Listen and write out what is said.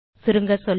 சுருங்கசொல்ல